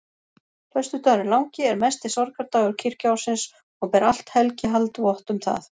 Föstudagurinn langi er mesti sorgardagur kirkjuársins og ber allt helgihald vott um það.